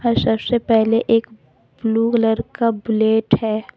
और सबसे पहले एक ब्लू कलर का बुलेट है।